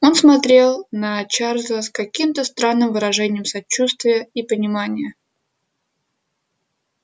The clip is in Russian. он смотрел на чарлза с каким-то странным выражением сочувствия и понимания